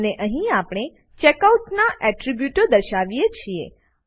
અને અહીં આપણે ચેકઆઉટ નાં એટ્રીબ્યુટો દર્શાવીએ છીએ